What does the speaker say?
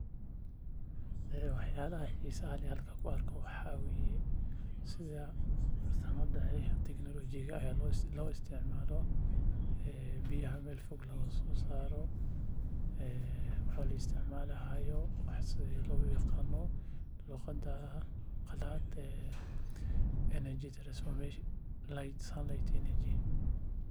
Wax yaabaha xiisaha leh aan halkan ku arkaa wax waye sida biyaha meel fog looga soo saaro la isticmalayo teknolojiyada.